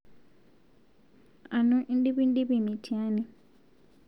Anu indipndip mitiani?